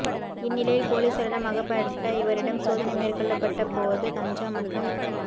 இந்நிலையில் பொலிசாரிடம் அகப்பட்ட இவரிடம் சோதனை மேற்கொள்ளப்பட்ட போது கஞ்சா மற்றும்